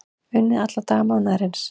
Unnið alla daga mánaðarins